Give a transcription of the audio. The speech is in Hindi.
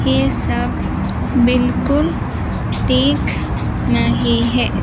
यह सब बिल्कुल ठीक नही है।